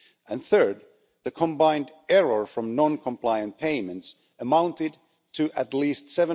and third, the combined error from non-compliant payments amounted to at least EUR